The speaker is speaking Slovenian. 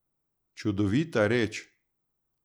Čudovita reč!